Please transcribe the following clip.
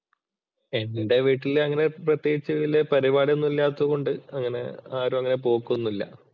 എന്‍റെ വീട്ടില് അങ്ങനെ പ്രത്യേകിച്ച് പരിപാടിയൊന്നും ഇല്ലാത്തോണ്ട് അങ്ങനെ ആരും അങ്ങനെ പോക്ക് ഒന്നുമില്ല.